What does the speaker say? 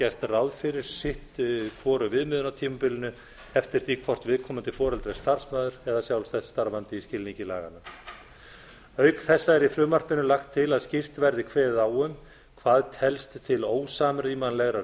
gert ráð fyrir sitt hvoru viðmiðunartímabilinu eftir því hvort viðkomandi foreldri er starfsmaður eða sjálfstætt starfandi í skilningi laganna auk þessa er í frumvarpinu lagt til að skýrt verði kveðið á um hvað telst til ósamrýmanlegra